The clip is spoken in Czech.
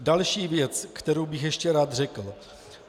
Další věc, kterou bych ještě rád řekl.